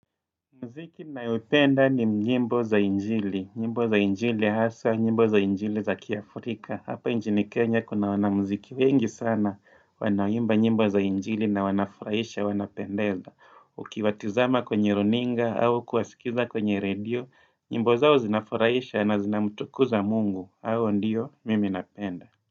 Muziki nayoipenda ni nyimbo za injili, nyimbo za injili haswa, nyimbo za njili za kiafrika, hapa nchini Kenya kuna wana mziki wengi sana, wanaimba nyimbo za injili na wanafurahisha, wanapendeza. Ukiwatizama kwenye runinga, au kuwasikiza kwenye radio, nyimbo zao zinafurahisha na zinamtukuza mungu, au ndiyo mimi napenda.